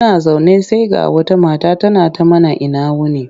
Muna zaune sai ga wata mata tana mana ina wuni.